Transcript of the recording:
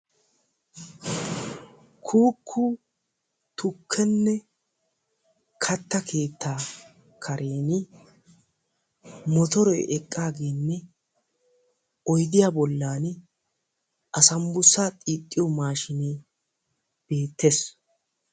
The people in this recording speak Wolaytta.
Kuuku tuukene katta keetta karen motore eqqagene oyddiya bollani asaambussa xiixiyo mashshiinee betees.